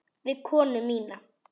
Við konu mína.